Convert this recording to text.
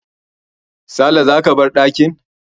Sale, za ka bar dakin